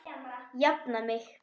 Jafna mig!